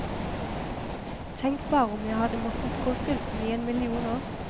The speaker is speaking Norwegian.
Tenk bare om jeg hadde måttet gå sulten i en million år.